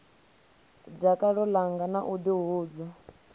dakalo ḽanga na u ḓihudza